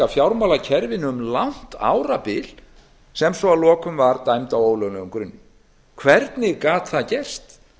fjármálakerfinu um langt árabil sem svo að lokum var dæmd á ólöglegum grunni hvernig gat það gerst